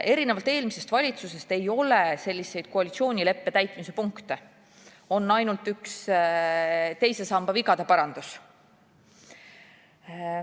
Erinevalt eelmisest valitsusest ei ole selles koalitsioonileppe täitmise punkte, on ainult üks teise samba vigade parandus.